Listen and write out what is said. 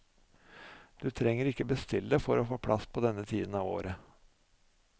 Du trenger ikke bestille for å få plass på denne tiden av året.